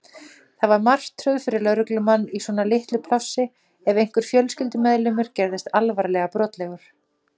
Það var martröð fyrir lögreglumann í svona litlu plássi ef einhver fjölskyldumeðlimur gerðist alvarlega brotlegur.